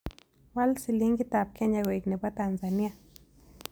Wal silingiitap kenya koig ne bo tanzania